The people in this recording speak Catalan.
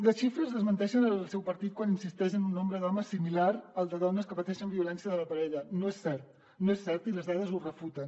les xifres desmenteixen el seu partit quan insisteix en un nombre d’homes similar al de dones que pateixen violència de la parella no és cert no és cert i les dades ho refuten